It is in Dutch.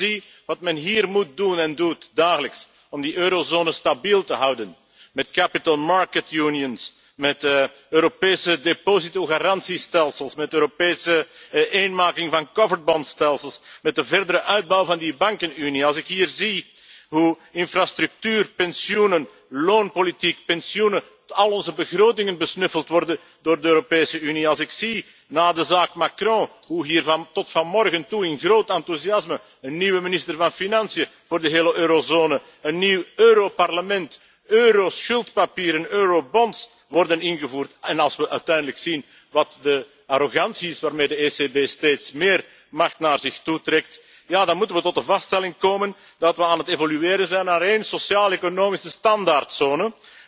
Als ik dan zie wat men hier moet doen en doet, dagelijks, om die eurozone stabiel te houden, met Capital Market Unions met Europese depositogarantiestelsels, met Europese eenmaking van coverbondstelsels, met de verdere uitbouw van die bankenunie, als ik hier zie hoe infrastructuur, pensioenen, loonpolitiek, pensioenen, al onze begrotingen, besnuffeld worden door de Europese Unie, als ik zie, na de zaak Macron, hoe hier, tot vanmorgen toe, in groot enthousiasme een nieuwe minister van Financiën voor de hele eurozone, een nieuw Europarlement, euroschuldpapieren, eurobonds worden ingevoerd, en als we uiteindelijk zien wat de arrogantie is waarmee de ECB steeds meer macht naar zich toetrekt, ja, dan moeten we tot de vaststelling komen dat we aan het evolueren zijn naar één sociaaleconomische standaardzone